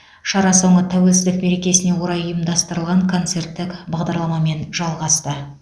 шара соңы тәуелсіздік мерекесіне орай ұйымдастырылған концерттік бағдарламамен жалғасты